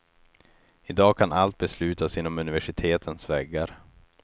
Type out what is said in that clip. I dag kan allt beslutas inom universitetens väggar.